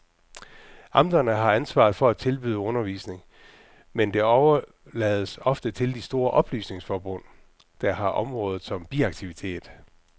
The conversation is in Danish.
Amterne har ansvaret for at tilbyde undervisning, men det overlades ofte til de store oplysningsforbund, der har området som biaktivitet.